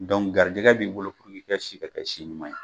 Dɔnku garijɛgɛ b'i bolo k'i ki ka si bɛɛ kɛ si ɲuman ye